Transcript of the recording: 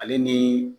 Ale ni